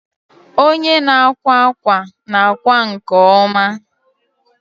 Onye na-akwa akwa na-akwa nke ọma